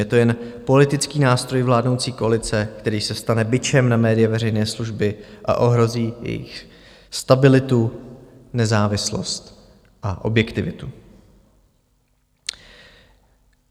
Je to jen politický nástroj vládnoucí koalice, který se stane bičem na média veřejné služby a ohrozí jejich stabilitu, nezávislost a objektivitu.